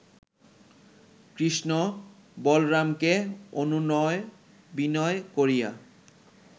কৃষ্ণ বলরামকে অনুনয় বিনয় করিয়া